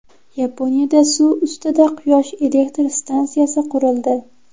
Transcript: Yaponiyada suv ustida quyosh elektr stansiyasi qurildi .